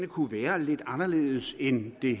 kunne være lidt anderledes end i